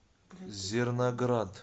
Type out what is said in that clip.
зерноград